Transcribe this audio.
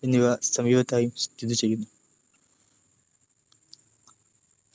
എന്നിവ സമീപത്തായും സ്ഥിതിചെയ്യുന്നു